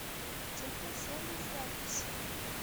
техно сервис запись